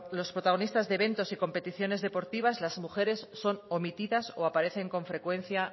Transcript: los protagonistas de eventos y competiciones deportivas las mujeres son omitidas o aparecen con frecuencia